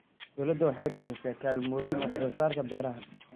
Dawladdu waxay bixisaa kaalmooyin wax-soo-saarka beeraha.